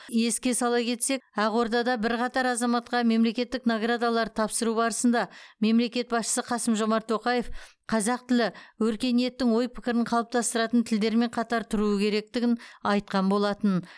еске сала кетсек ақордада бірқатар азаматқа мемлекеттік наградаларды тапсыру барысында мемлекет басшысы қасым жомарт тоқаев қазақ тілі өркениеттің ой пікірін қалыптастыратын тілдермен қатар тұруы керектігін айтқан болатын